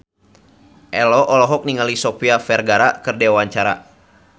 Ello olohok ningali Sofia Vergara keur diwawancara